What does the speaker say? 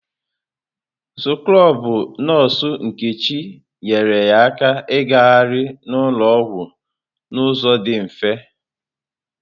Skrọbụ nọọsụ Nkechi nyeere ya aka igahari n'ụlọ ọgwụ n'ụzọ dị mfe.